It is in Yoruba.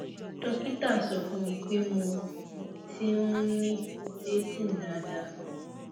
dókítà sọ fún mi pé mo mo ti um ni ovulating daadaa